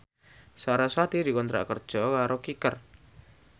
sarasvati dikontrak kerja karo Kicker